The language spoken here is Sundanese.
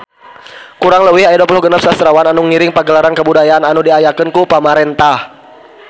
Kurang leuwih aya 26 sastrawan anu ngiring Pagelaran Kabudayaan anu diayakeun ku pamarentah